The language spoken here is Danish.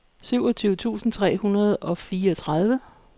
syvogtyve tusind tre hundrede og fireogtredive